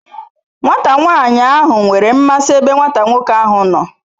Nwata nwani ahu nwere nmasi ebe Nwata nwoke ahu no